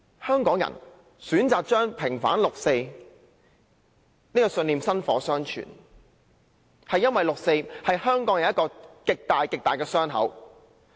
香港人選擇把平反六四這個信念薪火相傳，因為六四是香港人一個極巨大的傷口。